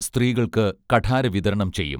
സ്ത്രീകൾക്ക് കഠാര വിതരണം ചെയ്യും